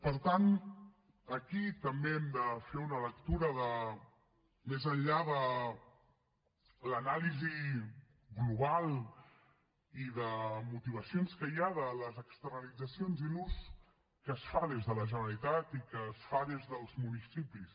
per tant aquí també hem de fer una lectura més enllà de l’anàlisi global i de motivacions que hi ha de les externalitzacions i l’ús que se’n fa des de la generalitat i que se’n fa des dels municipis